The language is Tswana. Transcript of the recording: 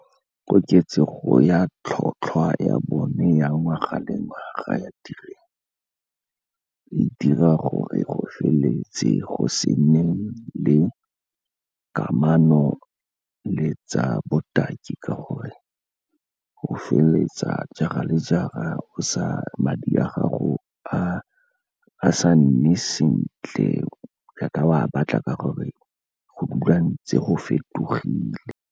Koketsego ya tlhotlhwa ya bone ya ngwaga le ngwaga ga ya tirelo, e dira gore go feleletse go se nne le kamano le tsa botaki, ka gore go feleletsa jaar-a le jaar-a madi a gago a sa nne sentle jaaka o batla, ka gore go dula ntse go fetogile.